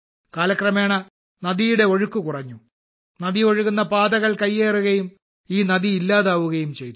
കാലക്രമേണ നദിയുടെ ഒഴുക്ക് കുറഞ്ഞു നദി ഒഴുകുന്ന പാതകൾ കയ്യേറുകയും ഈ നദി ഇല്ലാതാവുകയും ചെയ്തു